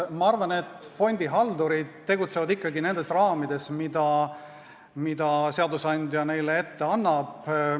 Ma arvan, et fondihaldurid tegutsevad ikkagi nendes raamides, mida seadusandja neile ette annab.